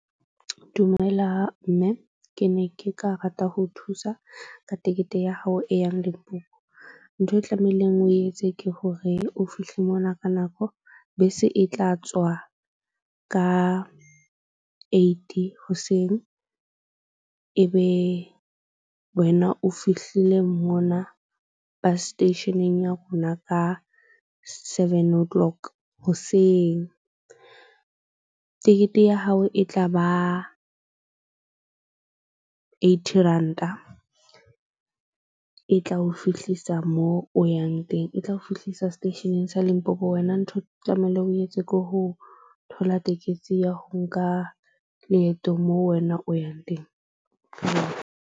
Dumela mme ke ne ke ka rata ho thusa ka tekete ya hao e yang Limpopo. Ntho e tlamehileng o etse ke hore o fihle mona ka nako. Bese e tla tswa ka eight hoseng, Ebe wena o fihlile mona bus station-eng ya rona ka seven o' clock hoseng. Tekete ya hao e tla ba eighty ranta. E tla o fihlisa mo o yang teng e tla o fihlisa seteisheneng sa Limpopo. Wena ntho tlamehile, o etse ko ho thola tekesi ya ho nka leeto moo wena o yang teng .